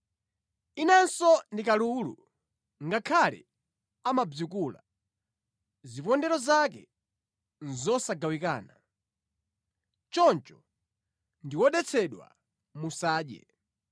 Inanso ndi kalulu, ngakhale amabzikula, zipondero zake nʼzosagawikana. Choncho ndi wodetsedwa, musadye.